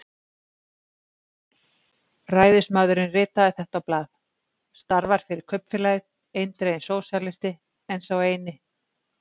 Ræðismaðurinn ritaði þetta á blað: Starfar fyrir kaupfélagið- eindreginn sósíalisti, en sá eini